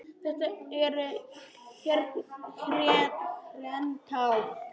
Þetta eru hrein tár.